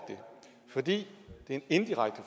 fordi det er en indirekte